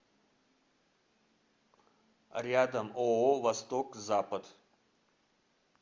рядом ооо восток запад